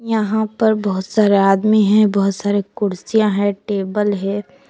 यहां पर बहुत सारे आदमी है बहुत सारे कुर्सियां है टेबल है।